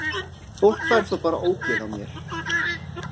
Fólk fær þá bara ógeð á mér.